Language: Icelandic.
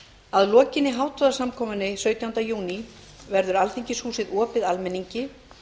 að lokinni hátíðarsamkomunni sautjánda júní verður alþingishúsið opið almenningi